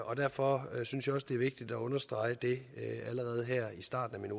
og derfor synes jeg også det er vigtigt at understrege det allerede her i starten af min